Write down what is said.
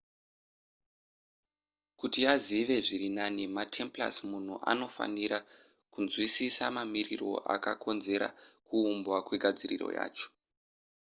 kuti azive zviri nani matemplars munhu anofanira kunzwisisa mamiriro akakonzera kuumbwa kwegadziriro yacho